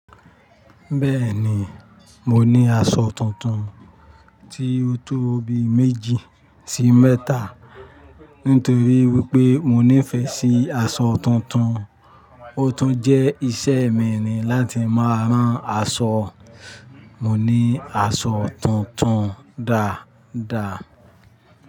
Bẹ́ẹ̀ni, mo ní aṣọ tuntun tí ó tó bí méjì sí mẹ́tà, nítorí wípé mo nífẹ̀ẹ́ sí aṣọ tuntun, ó tún jẹ́ ìṣe mi ni láti máa rán aṣọ. Mo ní aṣọ tuntun dáadáa.